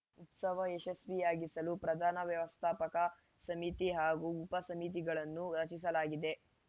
ಉತ್ಸವ ಯಶಸ್ವಿಯಾಗಿಸಲು ಪ್ರಧಾನ ವ್ಯವಸ್ಥಾಪಕ ಸಮಿತಿ ಹಾಗೂ ಉಪ ಸಮಿತಿಗಳನ್ನು ರಚಿಸಲಾಗಿದೆ